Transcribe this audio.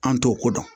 An t'o ko dɔn